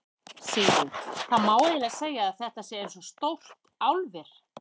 Sigríður: Það má eiginlega segja að þetta sé eins og stórt álver?